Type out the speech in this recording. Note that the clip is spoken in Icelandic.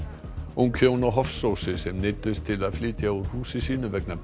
ung hjón á Hofsósi sem neyddust til að flytja úr húsi sínu vegna